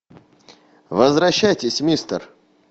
возвращайтесь мистер